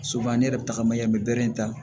ne yɛrɛ bɛ taga mayɛ an bɛ bɛrere ta